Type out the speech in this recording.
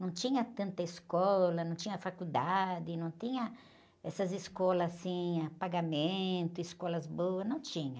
Não tinha tanta escola, não tinha faculdade, não tinha essas escolas assim, a pagamento, escolas boas, não tinha.